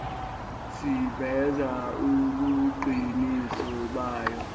siveza ubuqiniso bayo